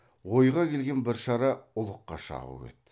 ойға келген бір шара ұлыққа шағу еді